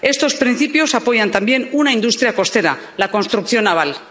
Estos principios apoyan también una industria costera, la construcción naval.